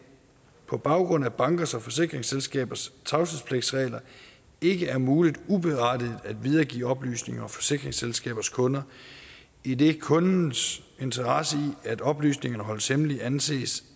på baggrund af bankers og forsikringsselskabers tavshedspligtregler ikke er muligt uberettiget at videregive oplysninger om forsikringsselskabers kunder idet kundens interesse i at oplysningerne holdes hemmelige anses